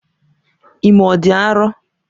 Ime ọ dị arọ?